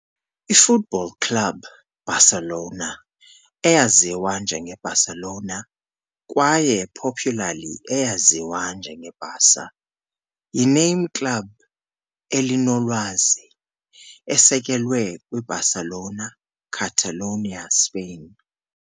I-Futbol Club Barcelona, eyaziwa njenge Barcelona kwaye popularly eyaziwa njenge Barça, yi name club elinolwazi, esekelwe kwi - Barcelona, Catalonia, Spain.